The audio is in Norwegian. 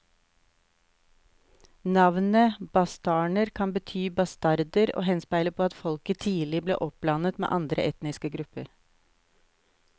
Navnet bastarner kan bety bastarder og henspeiler på at folket tidlig ble oppblandet med andre etniske grupper.